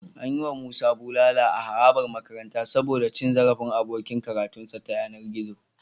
An yi wa Musa bulala a harabar makaranta saboda cin zarafin abokin karatunsa ta yanar gizo.